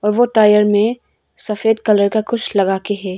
वह टायर में सफेद कलर का कुछ लगा के है।